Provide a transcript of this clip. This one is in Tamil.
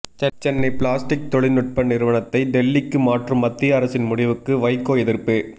சென்னை பிளாஸ்டிக் தொழில்நுட்ப நிறுவனத்தை டெல்லிக்கு மாற்றும் மத்திய அரசின் முடிவுக்கு வைகோ எதிர்ப்பு